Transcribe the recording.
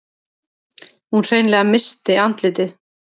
Hún hreinlega missti andlitið.